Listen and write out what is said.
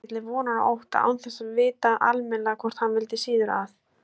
Beið milli vonar og ótta, án þess að vita almennilega hvort hann vildi síður að